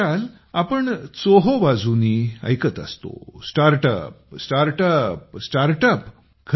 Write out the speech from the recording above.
आजकाल आपण चोहो बाजुंनी ऐकत असतो स्टार्टअपस्टार्टअप स्टार्टअप